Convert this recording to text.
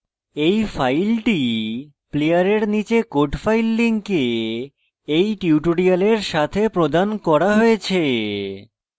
এই file player নীচের code file link এই tutorial সাথে প্রদান করা হয়েছে